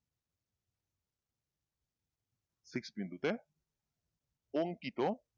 six বিন্দুতে বঙ্কিত